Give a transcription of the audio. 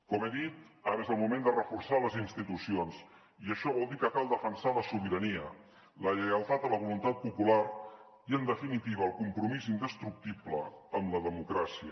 com he dit ara és el moment de reforçar les institucions i això vol dir que cal defensar la sobirania la lleialtat a la voluntat popular i en definitiva el compromís indestructible amb la democràcia